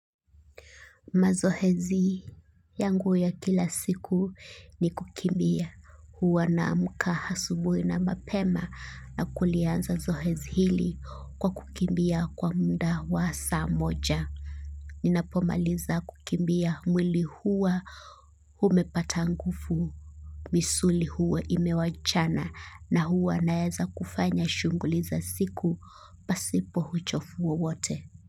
Mazoezi yangu ya kila siku ni kukimbia huwa naamka asubuhi na mapema na kulianza zoezi hili kwa kukimbia kwa muda wasaa moja. Ninapomaliza kukimbia mwili huwa umepata nguvu misuli huwa imewachana na huwa naeza kufanya shughuli za siku pasipo uchovu wowote.